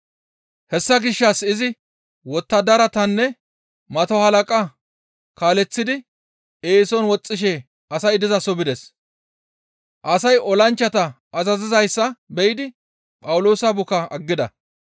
Hessa gishshas izi wottadaratanne mato halaqata kaaleththidi eeson woxxishe asay dizaso bides; asay olanchchata azazizayssa be7idi Phawuloosa bukaa aggides.